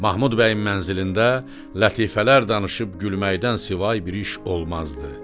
Mahmud bəyin mənzilində lətifələr danışıb gülməkdən savayı bir iş olmazdı.